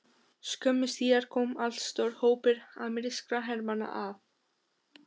Skömmu síðar kom allstór hópur amerískra hermanna að